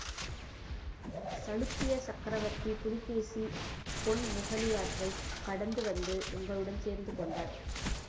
சளுக்கிய சக்ரவர்த்தி புலிகேசி பொன்முகலியாற்றைக்கடந்து வந்து எங்களுடன் சேர்ந்து கொண்டார்